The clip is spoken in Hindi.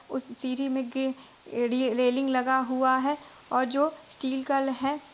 उस सीढ़ी मे एडी रेलिंग लगा हुआ है और जो स्टील का है।